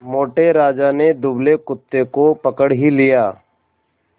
मोटे राजा ने दुबले कुत्ते को पकड़ ही लिया